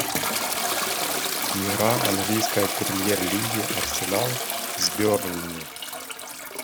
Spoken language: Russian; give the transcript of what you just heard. игра английской премьер лиги арсенал с бернли